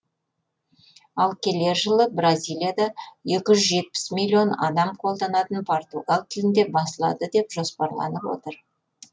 ал келер жылы бразилияда екі жүз жетпіс миллион адам қолданатын португал тілінде басылады деп жоспарланып отыр